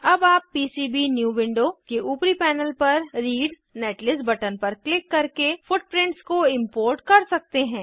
अब आप PCB new window के ऊपरी पैनल पर रीड नेटलिस्ट बटन पर क्लिक करके फुटप्रिंट्स को इम्पोर्ट कर सकते हैं